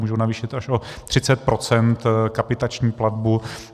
Můžou navýšit až o 30 % kapitační platbu.